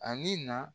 Ani na